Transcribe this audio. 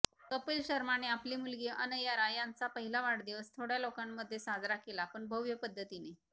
कपिल शर्माने आपली मुलगी अनयरा यांचा पहिला वाढदिवस थोड्या लोकांमध्ये साजरा केला पण भव्य पद्धतीने